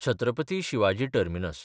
Chhatrapati Shivaji terminus (Victoria terminus)